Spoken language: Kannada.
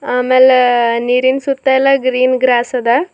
ಆಮೇಲೆ ನೀರಿನ್ ಸುತ್ತ ಎಲ್ಲ ಗ್ರೀನ್ ಗ್ರಾಸ್ ಅದ.